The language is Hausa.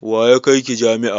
Wa ya kai ki jami'a?